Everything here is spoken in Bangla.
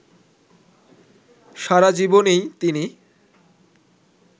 সারাজীবনই তিনি